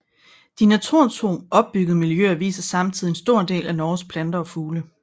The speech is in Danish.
De naturtro opbyggede miljøer viser samtidig en stor del af Norges planter og fugle